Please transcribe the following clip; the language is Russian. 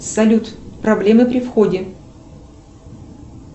салют проблемы при входе